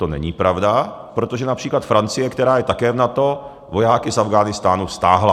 To není pravda, protože například Francie, která je také v NATO, vojáky z Afghánistánu stáhla.